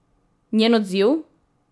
Njen odziv?